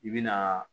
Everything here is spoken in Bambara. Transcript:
I bi na